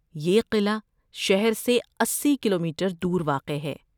یہ قلعہ شہر سے اسی کلومیٹر دور واقع ہے